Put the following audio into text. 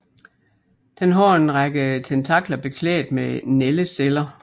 Den har en række tentakler beklædt med nældeceller